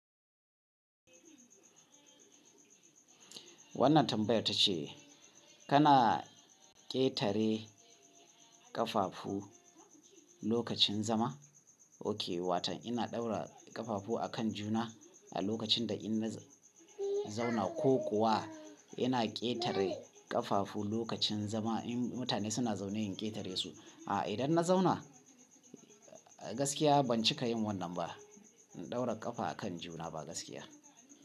Wannan tambayar tace kana ƙetare ƙafafu lokacin zama. Ok, watan ina ɗaura ƙafafu a kan juna a lokacin da ina zauna ko kuwa ina ƙetare ƙafafu lokacin zama in mutane suna zaune in ƙetare su. A idan na zauna gaskiya ban cika yin wannan ba. In ɗaura ƙafa a kan juna ba gaskiya.